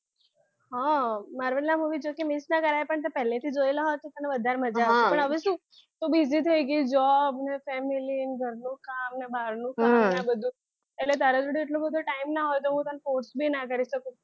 આ marvel ના marvel જોકે miss ના કરાય પણ તે પહેલેથી જોયેલા હોત ને તો તને વધારે મજા આવે પણ હવે શું તું બીજી થઈ ગઈ છે જોબ ને family અને ઘરનું કામ બારનું કામ ને બધું એટલે તારા જોડે એટલો બધા time ના હોય એટલે હું તને force બી ના કરી શકું